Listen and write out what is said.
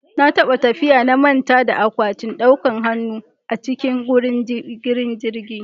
Na taɓa tafiya na manta da akwatin ɗaukan hanu a cikin wurin jiran jirgi